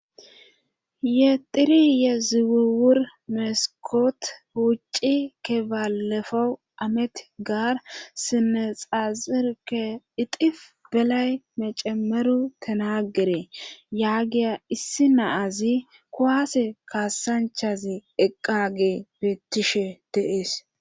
Yexiri ye ziwuwur mesikot wucci kebalefowu amet gaar sinne xazirke ixif belay mecemeru tinagere yaagiya issi naazi kuwaase kaasanchazi eqqage beettishe deees.